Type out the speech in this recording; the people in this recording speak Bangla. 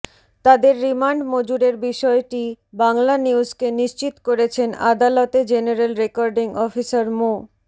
তাদের রিমান্ড মঞ্জুরের বিষয়টি বাংলানিউজকে নিশ্চিত করেছেন আদালতে জেনারেল রেকর্ডিং অফিসার মো